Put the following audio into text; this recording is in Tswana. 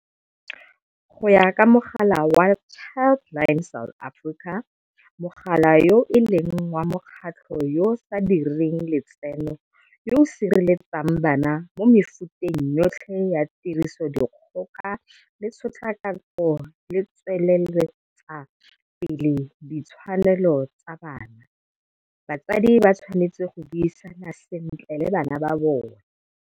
Go ya ka mogala wa Child line South Africa, mogala yo e leng wa mokgatlho yo o sa direng letseno yo o sireletsang bana mo mefuteng yotlhe ya tirisodikgoka le tshotlakako le go tsweletsa pele ditshwanelo tsa bana, batsadi ba tshwanetse go buisana sentle le bana ba bona.